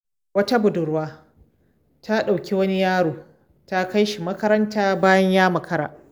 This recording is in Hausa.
Wata budurwa ta ɗauki wani yaro ta kai shi makaranta bayan ya makara.